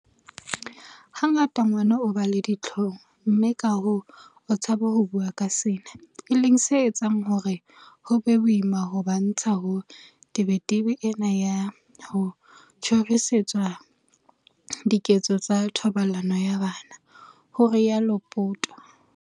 "Hangata ngwana o ba le dihlong mme kahoo o tshaba ho bua ka sena, e leng se etsang hore ho be boima ho ba ntsha ho tebetebeng ena ya ho tjhorisetswa diketso tsa thobalano ya bana," ho rialo Poto.